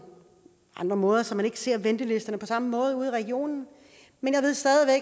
andre måder så man ikke ser ventelisterne på samme måde ude i regionen men